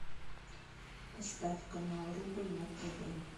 поставь канал рубль на тв